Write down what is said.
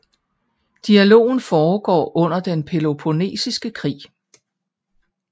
Dialogen foregår under den Peloponnesiske Krig